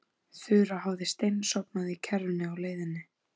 Þura hafði steinsofnað í kerrunni á leiðinni.